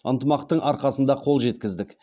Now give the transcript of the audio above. ынтымақтың арқасында қол жеткіздік